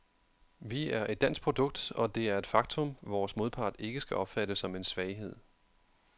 Vi er et dansk produkt, og det er et faktum, vores modpart ikke skal opfatte som en svaghed.